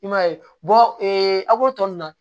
I m'a ye a k'o tɔ nunnu na